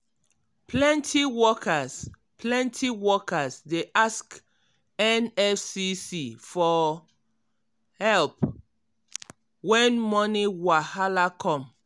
plenty workers plenty workers dey ask nfcc for um help when money wahala come